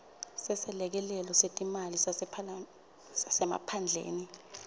seselekelelo setimali sasemaphandleni